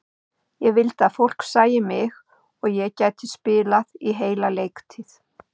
Ég vildi að fólk sæi mig og ég gæti spilað í heila leiktíð.